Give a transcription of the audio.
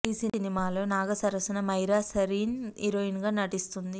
ఈ సినిమాలో నాగ సరసన మైరా సరీన్ హీరోయిన్ గా నటిస్తోంది